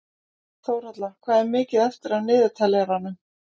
Þórhalla, hvað er mikið eftir af niðurteljaranum?